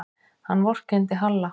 Hann vorkenndi Halla.